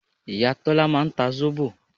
Ìyá Tọ́lá máa ń ta zobo